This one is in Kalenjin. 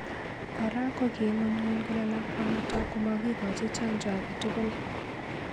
Kora koking'unyng'uny kole lakwanotok komakikochi chanjo ake tugul